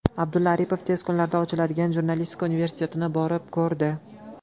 Abdulla Aripov tez kunlarda ochiladigan Jurnalistika universitetini borib ko‘rdi.